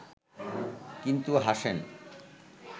কিন্তু হাসেন